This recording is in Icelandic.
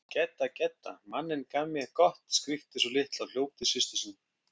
Gedda, Gedda, manninn gaf mé gott skríkti sú litla og hljóp til systur sinnar.